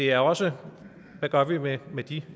er også hvad gør vi med med de